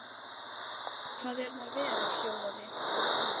Sigurður var mjög atorkusamur og duglegur.